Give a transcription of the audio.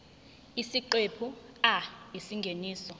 isiqephu a isingeniso